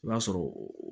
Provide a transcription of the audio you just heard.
I b'a sɔrɔ